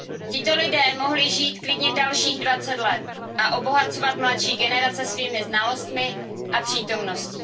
Tito lidé mohli žít klidně dalších 20 let a obohacovat mladší generace svými znalostmi a přítomností.